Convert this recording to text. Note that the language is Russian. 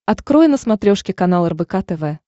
открой на смотрешке канал рбк тв